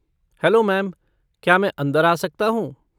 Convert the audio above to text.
Hello ma'am, क्या मैं अंदर आ सकता हूँ?